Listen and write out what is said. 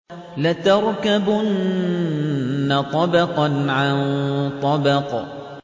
لَتَرْكَبُنَّ طَبَقًا عَن طَبَقٍ